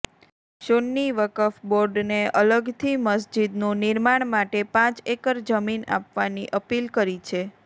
સુન્ની વકફ બોર્ડને અલગથી મસ્જિદનું નિર્માણ માટે પાંચ એકર જમીન આપવાની અપીલ કરી છે